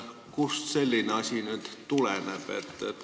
Kust selline asi tuleneb?